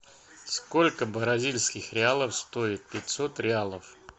сколько бразильских реалов стоит пятьсот реалов